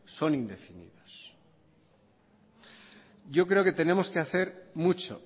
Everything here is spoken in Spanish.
son indefinidos yo creo que tenemos que hacer mucho